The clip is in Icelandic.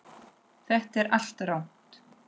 Þetta er allt rangt.